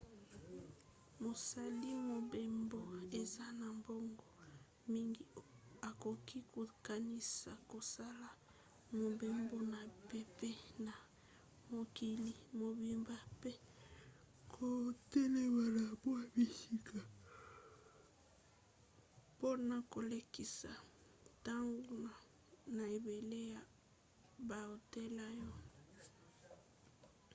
mosali mobembo aza na mbongo mingi akoki kokanisa kosala mobembo na mpepo na mokili mobimba mpe kotelema na mwa bisika mpona kolekisa ntango na ebele ya bahotel oyo